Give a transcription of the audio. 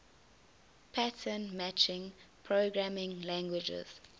pattern matching programming languages